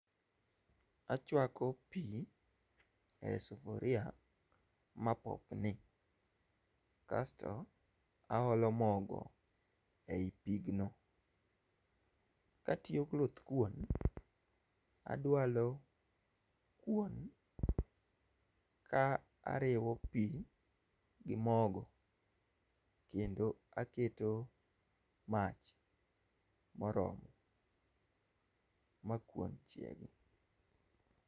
Achuako pii e sufuria ma popni. Kasto aolo mogo ei pigno. Katiyo goluthkuon, adualo kuon ka ariwo pi gi mogo kendo aketo mach moromo ma kuon chiegi.